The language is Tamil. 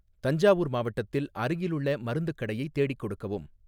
தஞ்சாவூர் மாவட்டத்தில் அருகிலுள்ள மருந்துக் கடையை தேடிக் கொடுக்கவும்